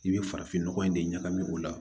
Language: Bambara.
I bɛ farafin nɔgɔ in de ɲagami o la